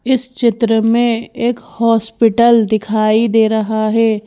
इस चित्र में एक हॉस्पिटल दिखाई दे रहा है।